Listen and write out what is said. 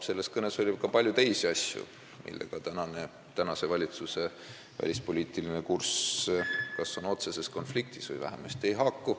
Selles kõnes oli ka palju teisi asju, millega tänase valitsuse välispoliitiline kurss on kas otseses konfliktis või vähemasti ei haaku.